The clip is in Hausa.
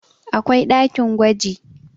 akwai ɗakin gwaji